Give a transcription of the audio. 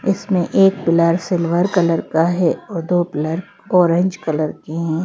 इसमें एक pillar silver colour का है और दो पिलर ऑरेंज कलर के हैं।